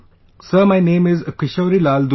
Sir, my name is KishorilalDurve